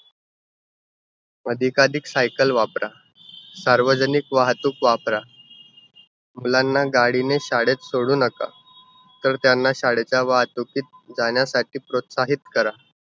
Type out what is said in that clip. अधिकाअधिक सायकल वापरा. सार्वजनिक वाहतूक वापरा. मुलांना गाडीने शाळेत सोडू नका. तर त्यांना शाळेच्या वाहतुकीत जाण्यासाठी प्रोत्साहित करा.